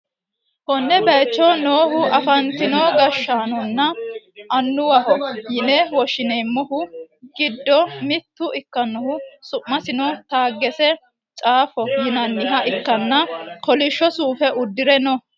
konne bayicho noohu afantino gashshaanonna annuwaho yine woshshi'neemmohu giddo mitto ikkanna, su'masino taggese chaffo yinanniha ikkanna, kolishsho suufe uddi're no.